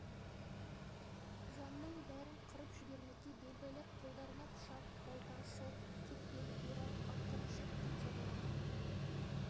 жанның бәрін қырып жібермекке бел байлап қолдарына пышақ балта шот кетпен орақ арқан жіп қанжарларын